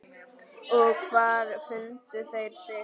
Og hvar fundu þeir þig.